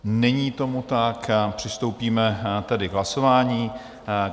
Není tomu tak, přistoupíme tedy k hlasování.